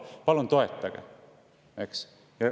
Palun toetage!